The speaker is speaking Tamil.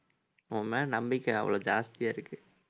உன் மேல நம்பிக்கை அவ்வளவு ஜாஸ்தியா இருக்கு